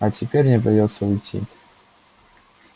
а теперь мне придётся уйти